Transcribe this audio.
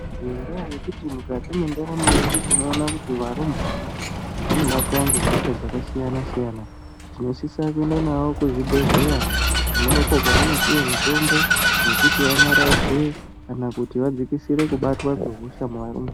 Nendaa yekuti mukati mwendaramo yedu tinoona kuti varumbwana vanobatwa nehosha dzakasiyana siyana tinosisa kuenda navo kuzvibhedhlera konako kwavanopiwa mutombo wekuti vantaradze kana kuti vadzikisire kubatwa nehosha maningi.